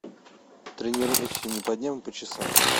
тренируйся не по дням а по часам